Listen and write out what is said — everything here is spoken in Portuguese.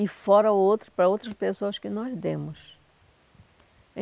e fora outro para outras pessoas que nós demos.